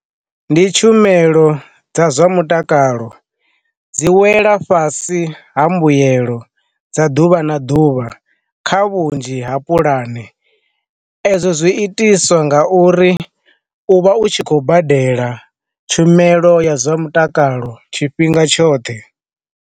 Ndi tshumelo dza zwa mutakalo, dzi wela fhasi ha mbuyelo dza ḓuvha na ḓuvha kha vhunzhi ha pulane, ezwo zwi itiswa nga uri u vha u tshi khou badela tshumelo ya zwa mutakalo tshifhinga tshoṱhe.